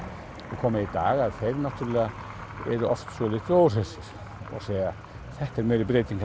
og koma í dag að þeir náttúrulega eru oft svolítið óhressir og segja að þetta sé meiri breyting